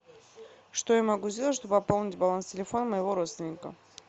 что я могу сделать чтобы пополнить баланс телефона моего родственника